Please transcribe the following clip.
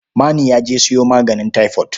Manu ya je sayo maganin taifot.